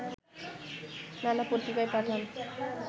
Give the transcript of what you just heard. নানা পত্রিকায় পাঠান